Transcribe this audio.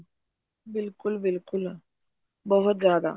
ਬਿਲਕੁਲ ਬਿਲਕੁਲ ਬਹੁਤ ਜਿਆਦਾ